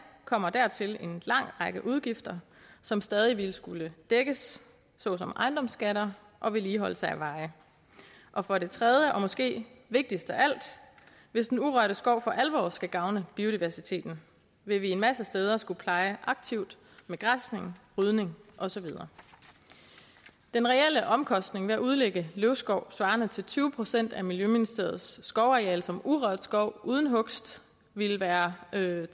kommer dertil en lang række udgifter som stadig ville skulle dækkes såsom ejendomsskatter og vedligeholdelse af veje og for det tredje og måske vigtigst af alt hvis den urørte skov for alvor skal gavne biodiversiteten vil vi en masse steder skulle pleje aktivt med græsning rydning og så videre den reelle omkostning ved at udlægge løvskov svarende til tyve procent af miljøministeriets skovareal som urørt skov uden hugst ville være tredive